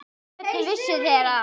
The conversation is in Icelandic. Hvernig vissuð þér það?